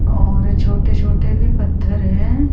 और छोटे छोटे भी पत्थर है।